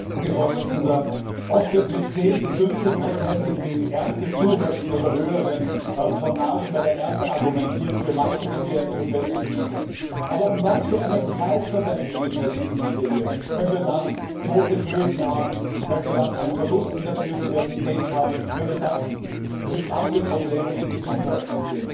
Herr Präsident! Oft wird mit 10 bis 15 prozentigen Erntezuwächsen oder höheren Tonnagen bei der Ernte für manche gefährliche Pestizide argumentiert. Aber um was für einen Preis verwenden wir die Pestizide hier, wenn wir dann tote Böden haben, wenn wir dann einen Verlust in der Biodiversität haben, wenn wir dann brisante Probleme im Gesundheitssystem haben?